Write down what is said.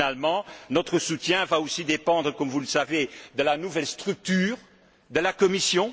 Finalement, notre soutien va aussi dépendre, comme vous le savez, de la nouvelle structure de la Commission.